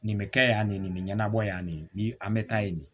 Nin bɛ kɛ yan nin nin bɛ ɲɛnabɔ yan nin an bɛ taa yen nin